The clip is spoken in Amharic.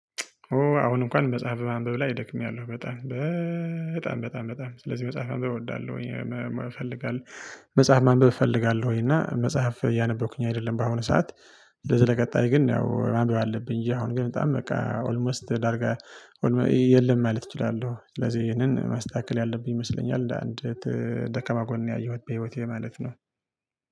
አሁን እንኳን መጽሐፍ ማንበብ ላይ ደክሚያለሁ በጣም በጣም በጣም በጣም ስለዚህ መጽሐፍ ማንበብ እወዳለሁ። እፈልጋለሁ መጽሐፍ ማንበብ እፈልጋለሁ እና መጽሐፍ እያነበብኩኝ አይደለም በአሁኑ ሰዓት። ለዚህ ለቀጣይ ግን ያው ማንበብ አለብኝ እንጂ አሁን ግን በጣም በቃ ኦልሞስት ዳርጋ የለም ማለት እችላለሁ። ስለዚህ ይሄንን ማስተካከል ያለብኝ ይመስለኛል። አንድ ደከማ ጎን ያየሁት በህይወቴ ማለት ነው